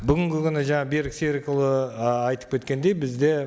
бүгінгі күні жаңа берік серікұлы ы айтып кеткендей бізде